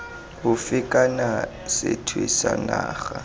ofe kana sethwe sa naga